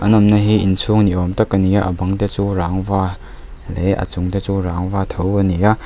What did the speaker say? awmna hi inchhung ni awm tak a ni a a bang te chu rangva leh a chung te chu rangva tho a ni a.